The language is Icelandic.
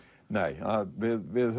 nei við við